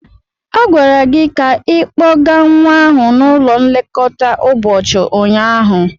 A gwara gị ka ikpọga nwa ahụ n'ụlọ nlekọta ụbọchị ụnyaahụ.